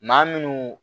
Maa minnu